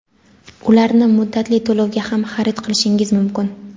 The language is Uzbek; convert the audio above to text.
Ularni muddatli to‘lovga ham xarid qilishingiz mumkin.